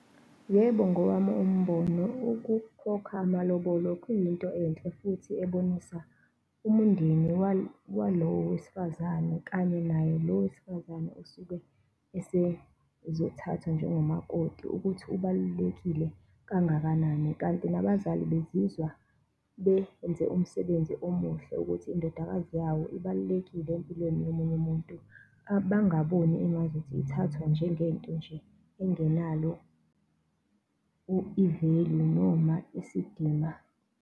Yebo, ngowami umbono ukukhokha amalobolo kuyinto enhle futhi ebonisa umndeni walowo wesifazane kanye naye lo wesifazane osuke esezothathwa njengomakoti ukuthi ubalulekile kangakanani. Kanti nabazali bezizwa benze umsebenzi omuhle ukuthi indodakazi yawo ibalulekile empilweni yomunye umuntu, bangaboni engazuthi ithathwa njengento nje engenalo i-value noma isidima.